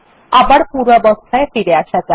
আবার পূর্বাবস্থায় ফিরে আসা যাক